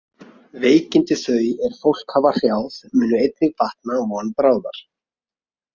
Veikindi þau er fólk hafa hrjáð munu einnig batna von bráðar.